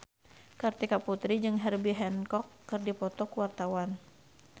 Kartika Putri jeung Herbie Hancock keur dipoto ku wartawan